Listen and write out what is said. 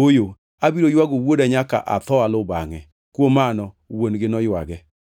“Ooyo, abiro ywago wuoda nyaka atho aluw bangʼe.” Kuom mano wuon-gi noywage.